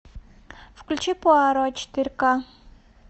включи пуаро четыре ка